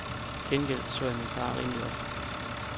Til gengæld så jeg min far rimelig ofte.